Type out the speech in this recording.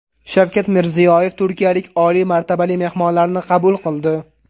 Shavkat Mirziyoyev turkiyalik oliy martabali mehmonlarni qabul qildi.